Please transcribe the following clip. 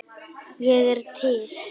Ég er til